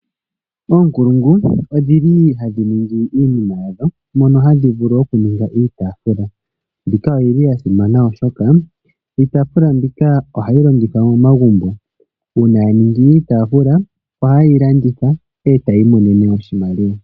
Oonkulungu odhi li hadhi ningi iinima yadho mono hadhi vulu oku ninga iitaafula. Mbika oti libya simana oshoka iitaafula mbika ohayi longithwa momagumbo. Uuna ya ningi iitaafula oha ye yi landitha e ta ya imonene iimaliwa.